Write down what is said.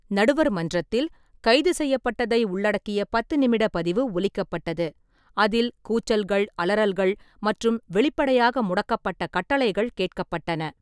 நடுவர் மன்றத்தில் கைது செய்யப்பட்டதை உள்ளடக்கிய பத்து நிமிட பதிவு ஒலிக்கப்பட்டது, அதில் கூச்சல்கள், அலறல்கள் மற்றும் வெளிப்படையாக முடக்கப்பட்ட கட்டளைகள் கேட்கப்பட்டன.